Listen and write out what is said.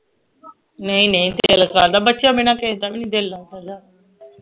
ਨਹੀਂ ਨਹੀਂ ਦਿਲ ਕਾਹਦਾ ਬੱਚਿਆਂ ਬਿਨਾ ਕਿਸੇ ਦਾ ਵੀ ਨਹੀਂ ਦਿਲ ਲੱਗ ਸਕਦਾ